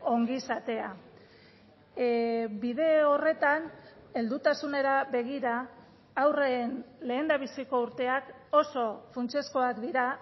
ongizatea bide horretan heldutasunera begira haurren lehendabiziko urteak oso funtsezkoak dira